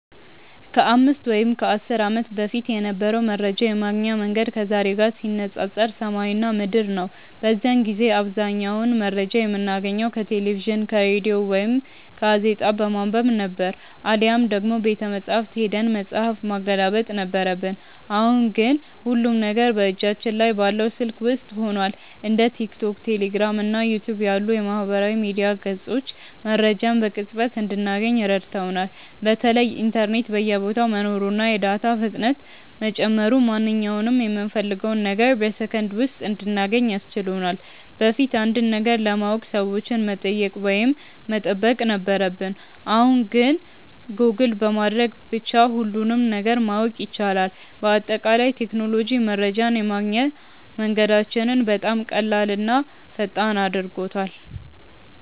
ከ5 ወይም ከ10 ዓመት በፊት የነበረው መረጃ የማግኛ መንገድ ከዛሬው ጋር ሲነፃፀር ሰማይና ምድር ነው። በዚያን ጊዜ አብዛኛውን መረጃ የምናገኘው ከቴሌቪዥን፣ ከሬዲዮ ወይም ጋዜጣ በማንበብ ነበር፤ አሊያም ደግሞ ቤተመጻሕፍት ሄደን መጽሐፍ ማገላበጥ ነበረብን። አሁን ግን ሁሉም ነገር በእጃችን ላይ ባለው ስልክ ውስጥ ሆኗል። እንደ ቲክቶክ፣ ቴሌግራም እና ዩቲዩብ ያሉ የማህበራዊ ሚዲያ ገጾች መረጃን በቅጽበት እንድናገኝ ረድተውናል። በተለይ ኢንተርኔት በየቦታው መኖሩና የዳታ ፍጥነት መጨመሩ ማንኛውንም የምንፈልገውን ነገር በሰከንድ ውስጥ እንድናገኝ አስችሎናል። በፊት አንድን ነገር ለማወቅ ሰዎችን መጠየቅ ወይም መጠበቅ ነበረብን፣ አሁን ግን ጎግል በማድረግ ብቻ ሁሉንም ነገር ማወቅ ይቻላል። በአጠቃላይ ቴክኖሎጂ መረጃን የማግኛ መንገዳችንን በጣም ቀላልና ፈጣን አድርጎታል።